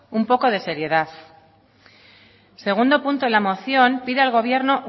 un poco de seriedad el segundo punto de la moción pide al gobierno